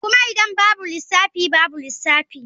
Kuma idan babu lissafi babu lissafi.